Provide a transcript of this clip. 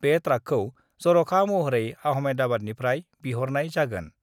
बे ट्राकखौ जर'खा महरै आहमेदाबादनिफ्राय बिहरनाय जागोन।